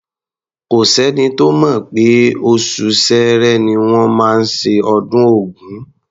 Kò s’ẹ́ni tó mọ̀ pé oṣù Ṣẹẹrẹ ni wọ́n máa ṣe ọdún Ògún.